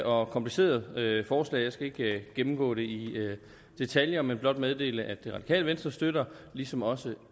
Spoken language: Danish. og kompliceret forslag jeg skal ikke gennemgå det i detaljer men blot meddele at det radikale venstre støtter ligesom også